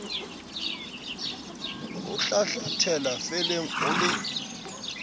o hlahlathela felleng o le